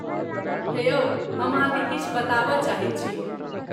हे यौ, हम अहाँकेँ किछु बताबय चाहैत छी।